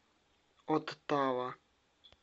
оттава